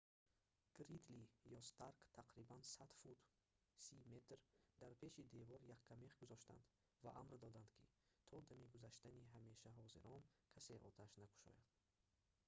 гридли ё старк тақрибан 100 фут 30 м дар пеши девор яккамех гузоштанд ва амр доданд ки то дами гузаштани ҳамешаҳозирон касе оташ накушояд